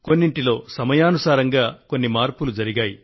కొన్నింటిలో సమయానుసారంగా కొన్ని మార్పులు జరిగాయి